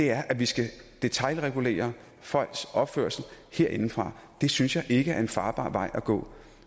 er at vi skal detailregulere folks opførsel herindefra det synes jeg ikke er en farbar vej at gå